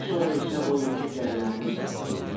Daha sonra isə o yekə qəlyanımı satdım.